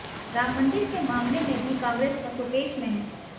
राममंदिर के मामले में भी कांग्रेस पसोपेश में है